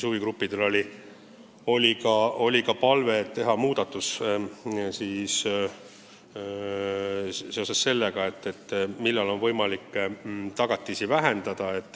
Huvigruppidel oli ka palve teha muudatus, mis puudutas võimalust tagatisi vähendada.